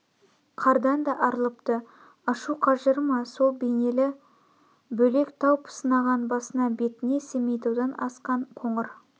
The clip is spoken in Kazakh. қардан да арылыпты ашу қажыры ма сол бейнелі бөлек тау пысынаған басына бетіне семейтаудан асқан қоңыр